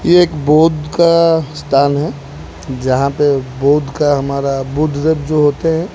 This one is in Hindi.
ये एक बौद्ध का स्थान है जहां पे बौद्ध का हमारा बुद्ध जो होते हैं।